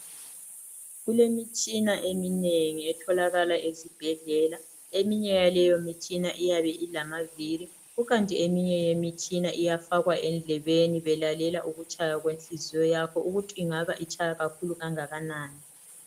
Kulemitshina eminenginengi etholakala ezibhedlela. Eminye yaleyo mitshina iyabe ilamaviri, kukanti eminye yemitshina iyafakwa endlebeni belalela ukutshaya kwenhliziyo yakho ukuthi ingaba itshaya kakhulu kangakanani.